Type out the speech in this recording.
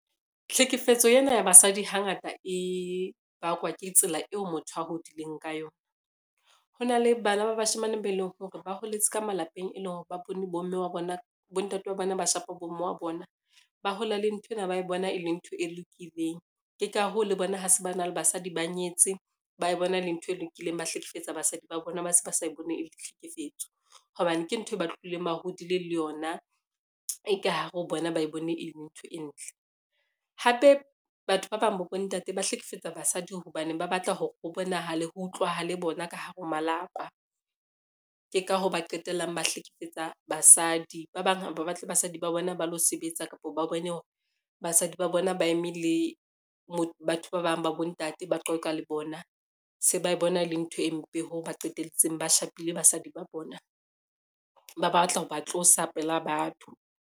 Tlhekefetso ena ya basadi hangata e bakwa ke tsela eo motho a hodileng ka yona. Ho na le bana ba bashemane be leng hore ba holetse ka malapeng e leng hore ba bone bontate wa bona ba shapa bomme wa bona, ba hola le nthwena ba e bona e le ntho e lokileng. Ke ka hoo, le bona ha se ba na le basadi ba nyetse ba e bona e le ntho e lokileng, ba hlekefetsa basadi ba bona ba se ba sa bone e le tlhekefetso, hobane ke ntho e ba tlohileng bahodile le yona e ka hare ho bona ba e bone e le ntho e ntle. Hape batho ba bang ba bontate ba hlekefetsa basadi hobaneng ba batla hore ho bonahale ho utlwahale bona ka hare ho malapa, ke ka hoo ba qetellang ba hlekefetsa basadi. Ba bang ha ba batle basadi ba bona ba lo sebetsa kapa ba bone hore basadi ba bona ba eme le bo batho ba bang ba bontate, ba qoqa le bona, se ba bona le ntho e mpe hoo ba qetelletseng ba shapile basadi ba bona ba batla ho ba tlosa pela batho.